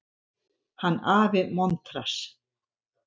Hann afi montrass.